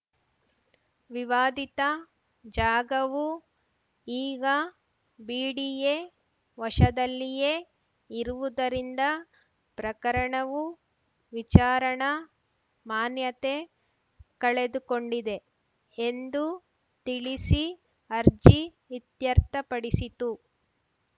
ವಿವಾದಿತ ಜಾಗವು ಈಗ ಬಿಡಿಎ ವಶದಲ್ಲಿಯೇ ಇರುವುದರಿಂದ ಪ್ರಕರಣವು ವಿಚಾರಣಾ ಮಾನ್ಯತೆ ಕಳೆದುಕೊಂಡಿದೆ ಎಂದು ತಿಳಿಸಿ ಅರ್ಜಿ ಇತ್ಯರ್ಥಪಡಿಸಿತು